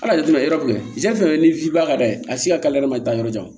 Al'a jateminɛ yɔrɔ jumɛn filɛ ni baara ka d'a ye a si ka k'ale yɛrɛ ma taa yɔrɔ jan